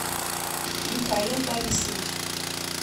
михаил борисович